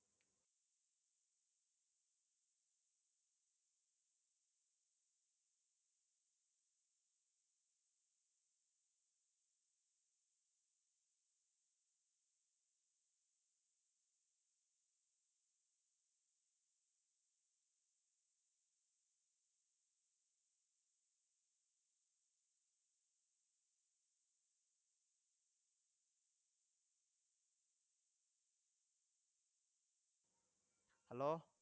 hello